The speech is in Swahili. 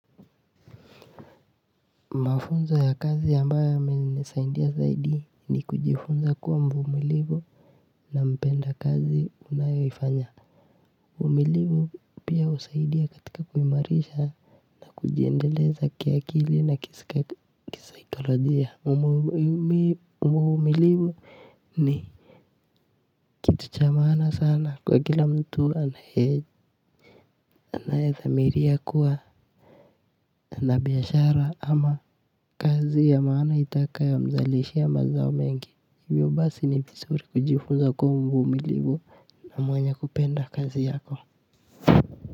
Mafunzo ya kazi ambayo yamenisaidia zaidi ni kujifunza kuwa mvumilivu na mpenda kazi unayoifanya uvumilivu pia husaidia katika kuimarisha na kujiendeleza kiakili na kisaikolojia uvumilivu ni kitu cha maana sana kwa kila mtu anayedhamiria kuwa na biashara ama kazi ya maana itakayomzalishia mazao mengi hivyo basi ni vizuri kujifunza kuwa mvumilivu na mwenye kupenda kazi yako.